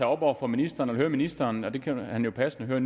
op over for ministeren og høre ministeren og det kan han jo passende høre